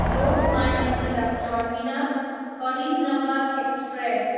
Lokmanya Tilak terminus, Karimnagar express